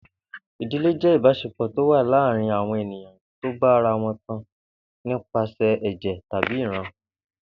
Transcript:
I̩dilé jé̩ ìbás̩epò̩ tó wà láàárín àwo̩n ènìyàn tó bá ara wo̩n tan nípa sè̩ è̩jè̩ tàbí ìran